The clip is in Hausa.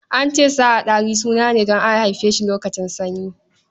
An ce sa a Ɗari suna ne don an haife shi lokacin sanyi.